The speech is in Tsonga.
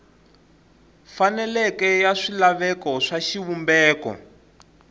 faneleke ya swilaveko swa xivumbeko